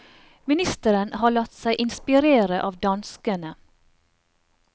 Ministeren har latt seg inspirere av danskene.